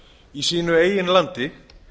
í sínu eigin landi